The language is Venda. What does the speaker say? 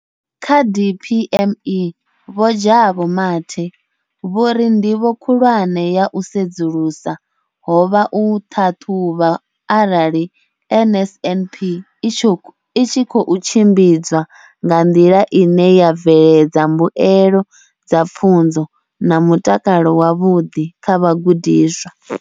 Kha DPME, Vho Jabu Mathe, vho ri, ndivho khulwane ya u sedzulusa ho vha u ṱhaṱhuvha arali NSNP i tshi khou tshimbidzwa nga nḓila ine ya bveledza mbuelo dza pfunzo na mutakalo wavhuḓi kha vhagudiswa.